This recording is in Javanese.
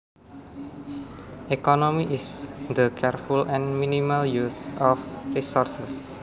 Economy is the careful and minimal use of resources